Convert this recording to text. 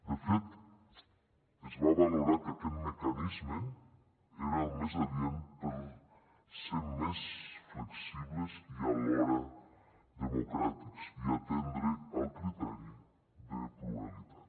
de fet es va valorar que aquest mecanisme era el més adient per ser més flexibles i alhora democràtics i atendre el criteri de pluralitat